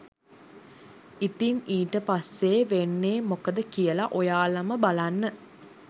ඉතින් ඊට පස්සෙ වෙන්නෙ මොකද කියල ඔයාලම බලන්න